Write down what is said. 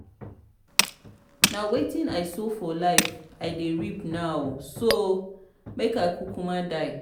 na wetin i sow for life i dey reap now so make i kukuma die.